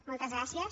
moltes gràcies